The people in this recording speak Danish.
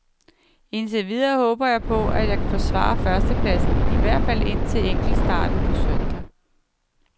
Indtil videre håber jeg på, at jeg kan forsvare førstepladsen i hvert fald indtil enkeltstarten på søndag.